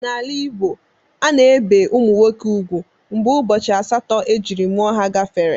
N'ala Igbo,a na-ebe ụmụ nwoke ugwu mgbe ụbọchị asatọ ejiri mụọ ha gafere.